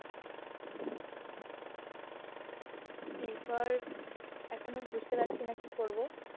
এরপর, এখনো বুঝতে পারছি না কি করবো?